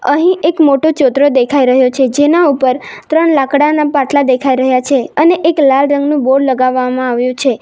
અહીં એક મોટો ચોતરો દેખાઈ રહ્યો છે જેના ઉપર ત્રણ લાકડાના પાટલા દેખાઈ રહ્યા છે અને એક લાલ રંગનું બોર્ડ લગાવવામાં આવ્યુ છે.